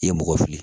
I ye mɔgɔ fili